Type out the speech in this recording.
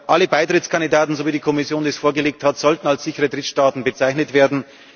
Alle Beitrittskandidaten, so wie die Kommission es vorgelegt hat, sollten als sichere Drittstaaten bezeichnet werden.